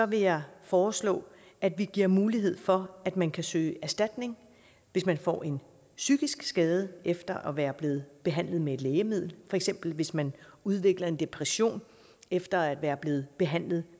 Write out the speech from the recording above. vil jeg foreslå at vi giver mulighed for at man kan søge erstatning hvis man får en psykisk skade efter at være blevet behandlet med et lægemiddel for eksempel hvis man udvikler en depression efter at være blevet behandlet